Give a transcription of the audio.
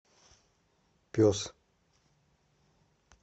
пес